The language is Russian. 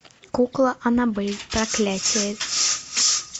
кукла аннабель проклятие